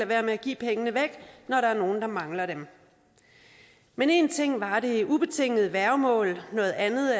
være med at give pengene væk når der er nogen der mangler dem men en ting var det ubetingede værgemål noget andet